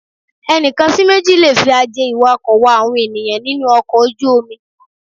Ẹnìkan sí méjì lè fi aje iwako wá àwọn ènìyàn nínú ọkọ̀ ojú-omi.